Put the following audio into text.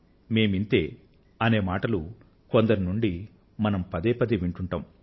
మేము ఇంతే అనే మాటలు కొందరి నోటి నుండి మనం పదే పదే వింటూంటాం